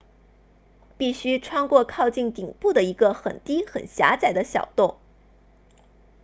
必须穿过靠近顶部的一个很低很狭窄的小洞